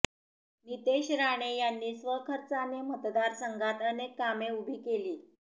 नितेश राणे यांनी स्वखर्चाने मतदारसंघात अनेक कामे उभी केली